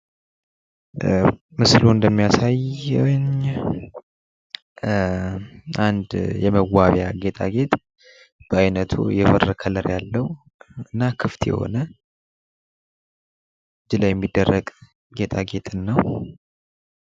ምስሉ እንደሚያሳየኝ አንድ የመዋቢያ ጌጣጌጥ በአይነቱ የብር ከለር ያለው እና ክፍት የሆነ እጅ ላይ የሚደረግ ጌጣጌጥን ነው።